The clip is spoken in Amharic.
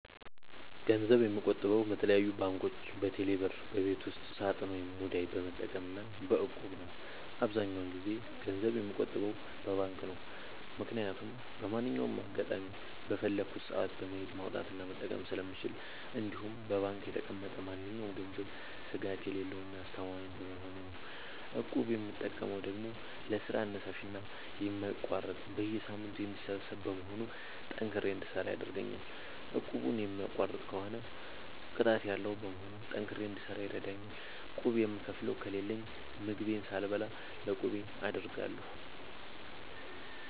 ገንዘብ የምቆጥበው በተለያዩ ባንኮች÷በቴሌ ብር ÷በቤት ውስጥ ሳጥን ወይም ሙዳይ በመጠቀም እና በ እቁብ ነው። አብዛኛውን ጊዜ ገንዘብ የምቆጥበው በባንክ ነው። ምክያቱም በማንኛውም አጋጣሚ በፈለኩት ሰአት በመሄድ ማውጣት እና መጠቀም ስለምችል እንዲሁም በባንክ የተቀመጠ ማንኛውም ገንዘብ ስጋት የሌለው እና አስተማማኝ በመሆኑ ነው። እቁብ የምጠቀመው ደግሞ ለስራ አነሳሽና የማይቋረጥ በየሳምንቱ የሚሰበሰብ በመሆኑ ጠንክሬ እንድሰራ ያደርገኛል። እቁቡን የሚቋርጥ ከሆነ ቅጣት ያለዉ በመሆኑ ጠንክሬ እንድሰራ ይረደኛል። ቁብ የምከፍለው ከሌለኝ ምግቤን ሳልበላ ለቁቤ አደርጋለሁ።